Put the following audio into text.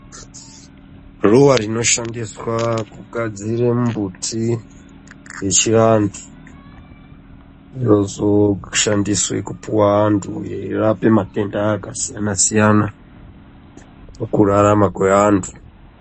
Ruwa rinoshandiswa kugadzira mbuti, yechivantu inozoshandiswe kupuwa antu yeirape matenda akasiyana-siyana, pakurarama kweantu.